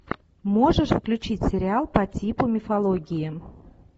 можешь включить сериал по типу мифологии